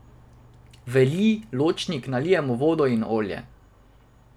V lij ločnik nalijemo vodo in olje.